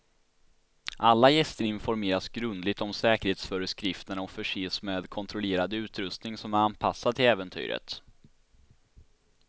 Alla gäster informeras grundligt om säkerhetsföreskrifterna och förses med kontrollerad utrustning som är anpassad till äventyret.